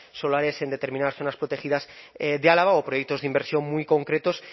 solares en determinadas zonas protegidas de álava o proyectos de inversión muy concretos